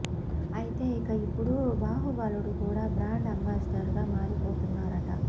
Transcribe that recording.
అయితే ఇక ఇప్పుడు బహుబలుడు కూడా బ్రాండ్ అంబాసిడర్ గా మారిపోతున్నాడట